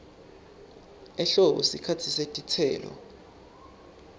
ehlobo sikhatsi setitselo